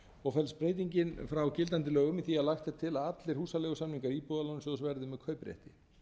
og felst breytingin frá gildandi lögum í því að lagt er til að allir húsaleigusamningar íbúðalánasjóðs verði með kauprétti